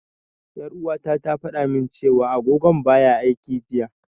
Ƴar'uwata ta fada min cewa agogon baya aiki jiya.